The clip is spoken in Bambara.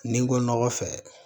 Ni n ko nɔgɔ fɛ